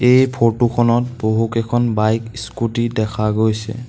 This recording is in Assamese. এই ফটো খনত বহুকেইখন বাইক স্কুটী দেখা গৈছে।